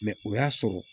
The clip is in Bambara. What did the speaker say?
o y'a sɔrɔ